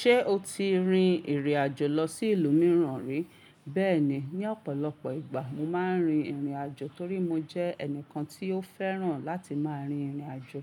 Ṣé o ti rin ìrìn-àjò lọ sí ìlú mìíràn rí? Bẹ́ẹ̀ni, ní ọ̀pọ̀lọpọ̀ ìgbà mo máa ń rin ìrìn-àjò torí mo jẹ́ ẹnìkan tí ó fẹ́ràn láti máa rin ìrìn-àjò.